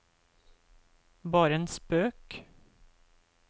bare en spøk